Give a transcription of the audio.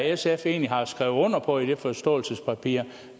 sf egentlig har skrevet under på i det forståelsespapir